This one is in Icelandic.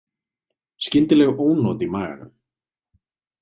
Skyndileg ónot í maganum.